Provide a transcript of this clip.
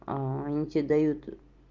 они тебе дают